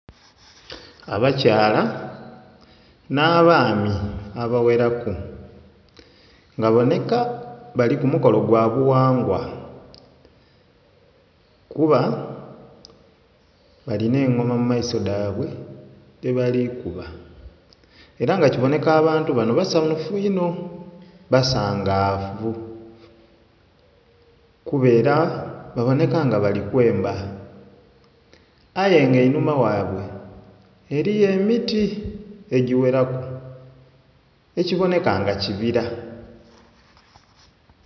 Abakyala n'abaami abaghera ku nga baboneka bali kumukono gwabughangwa kuba bali n'engoma mumaiso gabwe dhebali kuba era nga kiboneka abantu bano basanhufu inho basangavu kuba era baboneka nga bali kwemba aye nga einhuma ghabwe eriyo emiti! ejighera ku ekiboneka nga kibira.